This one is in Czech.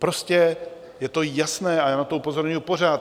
Prostě je to jasné a já na to upozorňuji pořád.